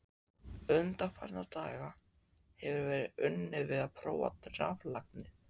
Undanfarna daga hefir verið unnið við að prófa raflagnir.